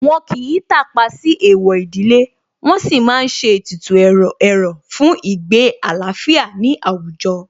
Wọ́n kìí tàpá sí Èèwọ̀ ìdílé, wọn sì má ń ṣe ètùtù ẹ̀rọ̀ fún ìgbé àlàáfíà ní àwùjọ